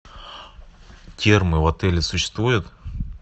термы в отеле существуют